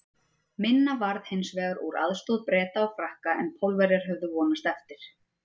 Minna varð hins vegar úr aðstoð Breta og Frakka en Pólverjar höfðu vonast eftir.